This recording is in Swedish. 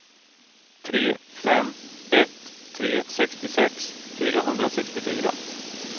tre fem ett tre sextiosex fyrahundrasextiofyra